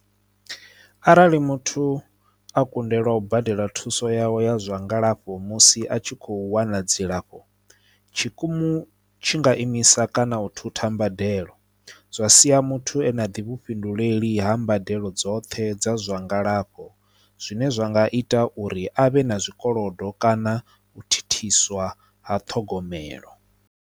Arali muthu a kundelwa u badela thuso yawe ya zwa ngalafho musi a tshi kho wana dzilafho tshikimu tshi nga imisa kana u thutha mbadelo zwa sia muthu ane a ḓi vhufhinduleli ha mbadelo dzoṱhe dza zwa ngalafho zwine zwa nga ita uri avhe na zwikolodo kana u thithiswa ha ṱhogomelo.